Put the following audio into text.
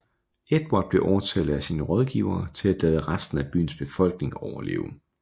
Edvard blev overtalt af sine rådgivere til at lade resten af byens befolkning overleve